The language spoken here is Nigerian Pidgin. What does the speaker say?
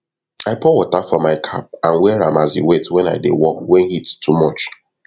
i pour water for my cap and wear am as e wet wen i dey work wen heat too much